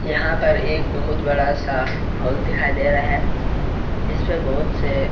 यहाँ पर एक बहुत बड़ा सा होल दिखाई दे रहा है जिस पर बहुत से --